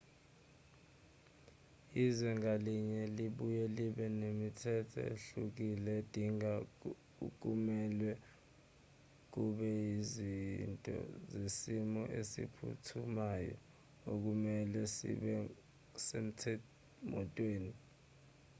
izwe ngalinye libuye libe nemithetho ehlukile edinga okumelwe kube yizinto zesimo esiphuthumayo okumelwe zibe semotweni